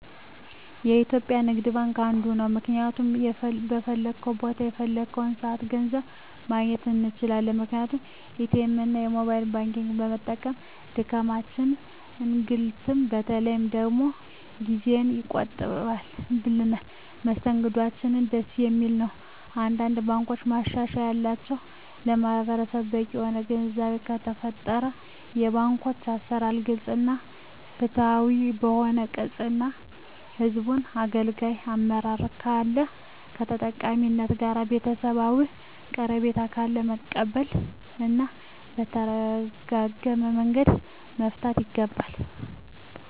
የኢትዩጲያ ንግድባንክ አንዱ ነዉ ምክንያቱም በፈለኩት ቦታ በፈለኩበት ሰአት ገንዘብ ማግኘት እንችላለን ምክንያቱም ኢትኤምእና የሞባይል ባንኪግን በመጠቀም ድካምንም እንግልትም በተለይ ደግሞ ጊዜየን ይቆጥብልኛል መስተንግዶአቸዉም ደስ የሚል ነዉ አንዳንድ ባንኮች ማሻሻል ያለባቸዉ ለማህበረሰቡ በቂ የሆነ ግንዛቤ ከተፈጠረ የባንኮች አሰራር ግልፅ እና ፍትሀዊ ከሆነ ቅን እና ህዝቡን አገልጋይ አመራር ካለ ከተጠቃሚዉ ጋር ቤተሰባዊ ቀረቤታ ካለ መቀበል እና በተረጋጋመንገድ መፍታት ይገባል